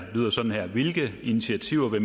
der